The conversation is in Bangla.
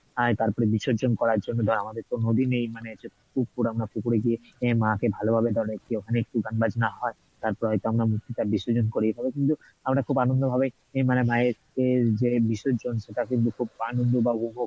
আহ তারপরে বিসর্জন করার জন্য ধর আমাদের তো নদী নেই পুকুর আমরা পুকুরে গিয়ে মা কে ভালোভাবে ওখানে একটু গান বাজনা হয় তারপরে হয়তো আমরা মূর্তিটা বিসর্জন করি তবে কিন্তু আমরা খুব আনন্দ ভাবেই মানে মায়ের যে বিসর্জন সেটা কিন্তু খুব আনন্দ বা উপভোগ